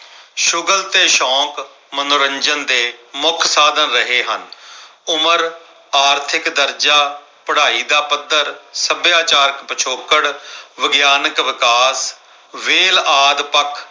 ਸ਼ੁਗਲ ਤੇ ਸ਼ੌਕ ਮਨੋਰੰਜਨ ਦੇਮੁੱਖ ਸਾਧਨ ਰਹੇ ਹਨ। ਉਮਰ ਆਰਥਿਕ ਦਰਜਾ, ਪੜਾਈ ਦਾ ਪੱਧਰ, ਸੱਭਿਆਚਾਰ ਪਿਛੋਕੜ, ਵਿਗਿਆਨਕ ਵਿਕਾਸ ਵੇਲ ਆਦਿ ਪੱਖ